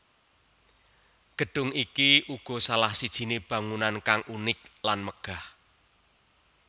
Gedung iki uga salah sijine bangunan kang unik lan megah